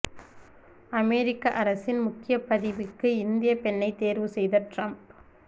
அமெரிக்க அரசின் முக்கிய பதவிக்கு இந்திய பெண்ணை தேர்வு செய்த டிரம்ப்